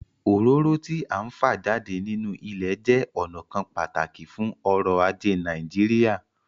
Òróró tí à ń fa jáde nínú ilẹ̀ jẹ́ ọnà kan pàtàkì fún ọ̀rọ̀ ajé Nàìjíríà